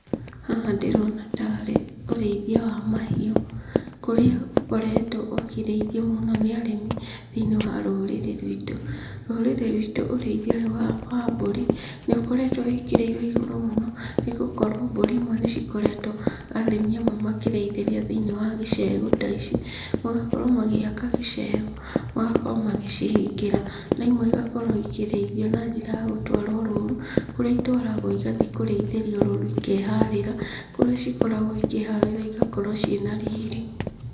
Haha ndirona tarĩ ũrĩithia wa mahiũ, kũrĩa ũkoretwo ũkĩrĩithio mũno nĩ arĩmi thĩinĩ wa rũrĩrĩ rwitũ. Rũrĩrĩ rwitũ ũrĩithia ũyũ wa mbũri nĩ ũkoretwo wĩkĩrĩirwo igũrũ mũno, nĩ gũkorwo mbũri imwe nĩ cikoretwo arĩmi amwe makĩrĩithĩria thĩinĩ wa gĩcegũ taici, magakorwo magĩaka gĩcegũ, magakorwo magĩcihingĩra. Naimwe igakorwo ikĩrĩothio na njĩra ya gũtwarwo rũru, kũrĩa itwaragwo igathiĩ kũrĩithio rũru ikeharĩra, kũrĩa ikoragwo ikĩharĩra igakorwo na riri.